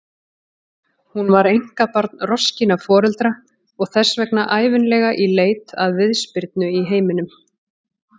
Hún var einkabarn roskinna foreldra og þess vegna ævinlega í leit að viðspyrnu í heiminum.